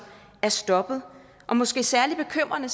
er stoppet og måske særlig bekymrende